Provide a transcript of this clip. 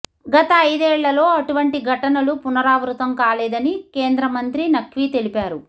గత ఐదేళ్ళలో అటువంటి ఘటనలు పునరావృతం కాలేదని కేంద్ర మంత్రి నఖ్వీ తెలిపారు